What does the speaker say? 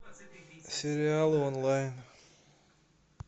сериалы онлайн